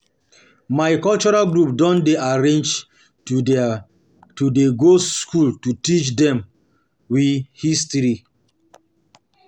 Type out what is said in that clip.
My cultural group don dey arrange to dey go skool to teach dem we history.